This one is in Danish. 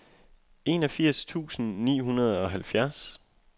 enogfirs tusind ni hundrede og halvfjerds